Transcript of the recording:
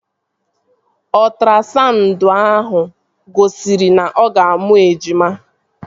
Ọtrasaụndụ ahụ gosiri na-ọga amụ ejima